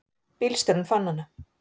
Bílstjórinn fann hana.